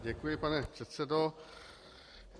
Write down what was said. Děkuji, pane předsedo.